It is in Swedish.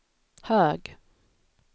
hög